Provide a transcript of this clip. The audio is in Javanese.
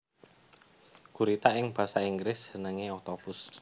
Gurita ing basa Inggris jenengé octopus